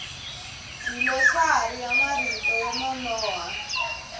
dlilosari ya marito yo nonoha